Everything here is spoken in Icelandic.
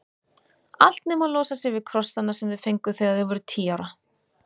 Allt nema að losa sig við krossana sem þau fengu þegar þau voru tíu ára.